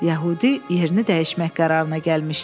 Yəhudi yerini dəyişmək qərarına gəlmişdi.